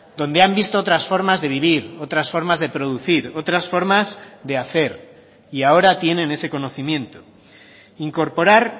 donde han visto otras formas de vivir otras formas de producir otras formas de hacer y ahora tienen ese conocimiento incorporar